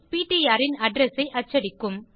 PTR ன் address ஐ அச்சடிக்கும்